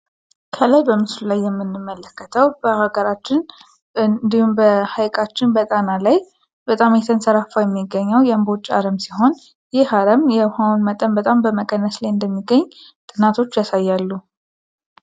ከላይ በምስሉ ላይ የምንመለከተው በሀገራችን ብሎም በጣና ሐይቃችን ላይ የሚዛፈው የእምቦጭ አረብ ሲሆን ይህ አረም የሆኑ መጠን በጣም በመቀነስ ላይ እንደሚገኝ ጥናቶች ያሳያሉ።